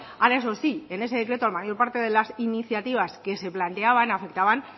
ahora eso sí en ese decreto la mayor parte de las iniciativas que se planteaban afectaban